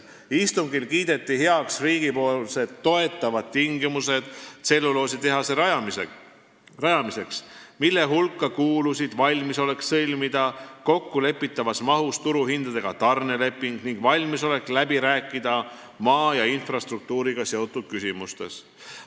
Istungil kiideti heaks riigi toetavad tingimused tselluloositehase rajamiseks, mille hulka kuulusid valmisolek sõlmida kokkulepitavas mahus turuhindadega tarneleping ning valmisolek läbi rääkida maa ja infrastruktuuriga seotud küsimustes.